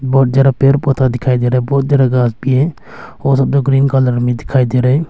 बहुत ज्यादा पेड़ पौधा दिखाई दे रहा है बहुत ज्यादा घास भी है और सब जो ग्रीन कलर में दिखाई दे रहा है।